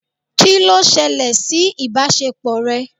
Kí ló ṣẹlẹ̀ sí ìbáṣepọ̀ rẹ?